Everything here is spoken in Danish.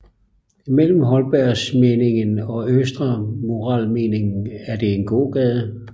Mellem Holbergsallmenningen og Østre Murallmenningen er det en gågade